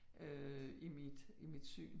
Øh i mit i mit syn